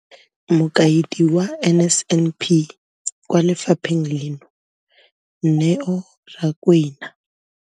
Mokaedi wa NSNP kwa lefapheng leno, Neo Rakwena.